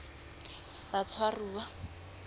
batshwaruwa